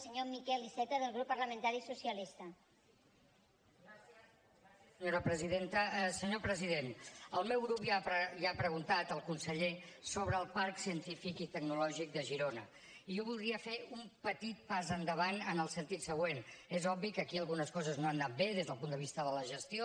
senyor president el meu grup ja ha preguntat al conseller sobre el parc científic i tecnològic de girona i jo voldria fer un petit pas endavant en el sentit següent és obvi que aquí algunes coses no han anat bé des del punt de vista de la gestió